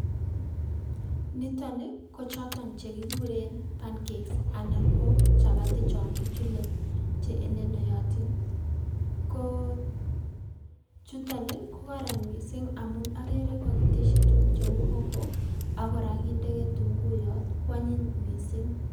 Nitoni ko choton che kikuren pancake s anan ko chapati cho kichule che elenoyotin, ko chuton ii ko koron mising amun akere kakitesyi tukuk cheu hoho ak kora kinde ketunguiyot kwanyiny mising.